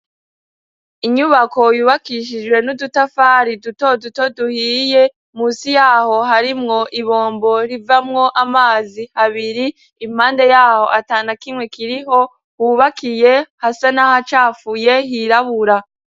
Inyubako yubakishijwe n'udutafari duto duto duhiye, munsi yaho harimwo ibombo rivamwo amazi, abiri, impande yaho atana kimwe kiriho, hubakiye hasa n'aho hacafuye, hirabura.